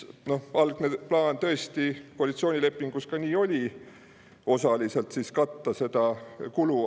Algne plaan koalitsioonilepingus tõesti see oli, et osaliselt katta selle kulu.